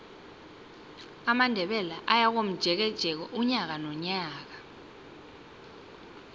amandebele ayakomjekeje unyaka nonyaka